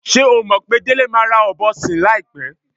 S̩é o mò̩ pé Délé máa ra ò̩bo̩ sìn láìpé̩?